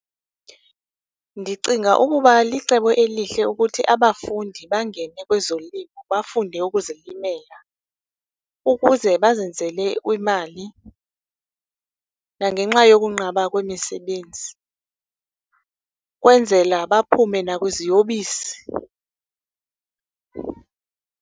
Ndicinga ukuba licebo elihle ukuthi abafundi bangene kwezolimo bafunde ukuzilimela ukuze bazenzele imali, nangenxa yokunqaba kwemisebenzi, kwenzela baphume nakwiziyobisi.